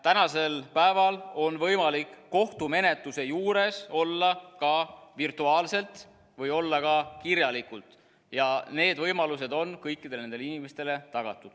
Tänasel päeval on võimalik kohtumenetluse juures olla ka virtuaalselt või olla ka kirjalikult, ja need võimalused on kõikidele nendele inimestele tagatud.